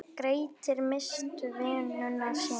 Grettir misst vinnuna sína.